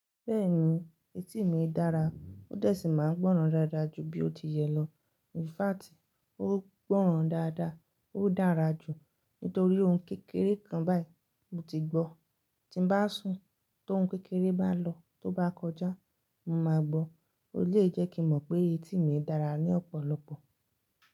Bẹ́ẹ̀ni etí mi dára, ó dẹ̀ sì máa ń gbọ́ràn dáadáa jù bí ó ti yẹ lọ. In fact, ó gbọ́ràn dáadáa, ó dára jù nítorí ohun kékeré kan báyìí mo ti gbọ́. Tí n bá sùn, tóhun kékeré bá lọ, tó bá kọjá, mo máa gbọ́. E lè jẹ́ kí n mọ̀ pé etí mi dára ní ọ̀pọ̀lọpọ̀.